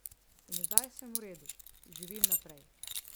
In zdaj sem v redu, živim naprej.